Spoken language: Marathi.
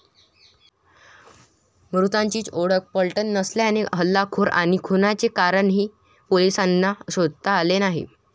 मृताचीच ओळख पटली नसल्याने हल्लेखोर आणि खुनाचे कारणही पोलिसांना शोधता आले नाही.